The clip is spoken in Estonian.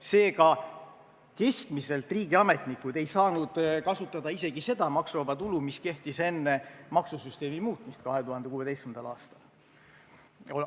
Seega, keskmiselt ei saanud riigiametnikud kasutada isegi seda maksuvaba tulu, mis kehtis enne maksusüsteemi muutmist 2016. aastal.